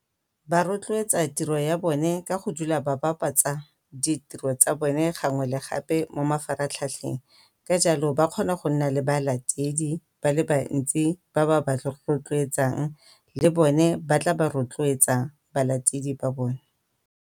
Ba rotloetsa tiro ya bone ka go dula ba bapatsa ditiro tsa bone gangwe le gape mo mafaratlhatlheng. Ka jalo ba kgona go nna le balatedi ba le bantsi ba tla ba rotloetsang le bone ba tla ba rotloetsa ba latedi ba bone.